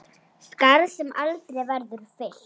Skarð sem aldrei verður fyllt.